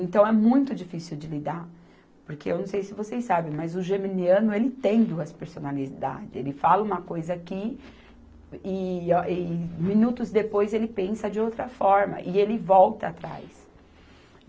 Então, é muito difícil de lidar, porque eu não sei se vocês sabem, mas o geminiano, ele tem duas personalidades, ele fala uma coisa aqui e ah, e minutos depois ele pensa de outra forma e ele volta atrás.